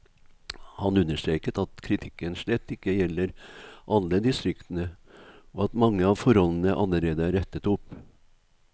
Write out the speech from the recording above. Han understreker at kritikken slett ikke gjelder alle distriktene, og at mange av forholdene allerede er rettet opp.